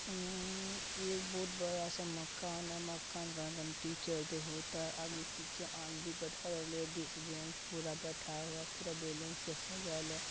उम्म्म एक बहुत बड़ा सा मकान है मकान में टीचर डे होता है आगे-पीछे आदमी बैठा हुआ है लेडीस जेन्स बैठा हुआ है पूरा बैलून से सजल है।